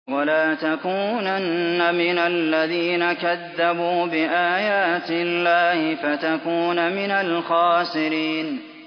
وَلَا تَكُونَنَّ مِنَ الَّذِينَ كَذَّبُوا بِآيَاتِ اللَّهِ فَتَكُونَ مِنَ الْخَاسِرِينَ